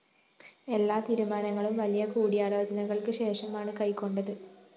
എല്ലാ തീരുമാനങ്ങളും വലിയ കൂടിയാലോചനകള്‍ക്ക് ശേഷമാണ് കൈക്കൊണ്ടത്